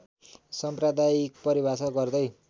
साम्प्रदायिक परिभाषा गर्दै